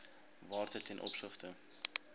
waarde ten opsigte